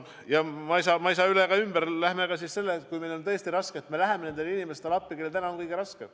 Ja ma ei saa üle ega ümber sellest, et kuigi riigil on tõesti raske, me läheme appi nendele inimestele, kellel täna on kõige raskem.